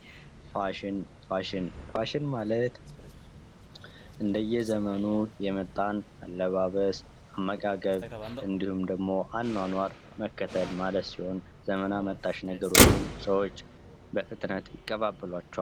ፋሽን ፋሽን ማለት እንደየዘመኑ የመጣን አለባበስ አመጋገብ እንድሁም ደግሞ አኗኗር መከተል ማለት ሲሆን ዘመን አመጣሽ ነገሮችን ሰዎች በፍጥነት ይቀባበሏቸዋል።